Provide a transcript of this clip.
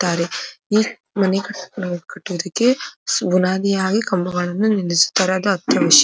ತ್ತಾರೆ. ಈ ಮನೆ ಕಟ್ಟುವುದಕ್ಕೆ ಬುನಾದಿಯಾಗಿ ಕಂಬಗಳನ್ನು ನಿಲ್ಲಿಸುತರದ ಅತ್ಯವಶ್ಯ.